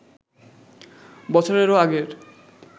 বছরেরও আগের